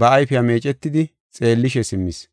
ba ayfiya meecetidi xeellishe simmis.